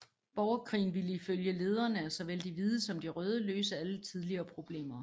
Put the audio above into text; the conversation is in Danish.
Borgerkrigen ville ifølge lederne af såvel de hvide som de røde løse alle tidligere problemer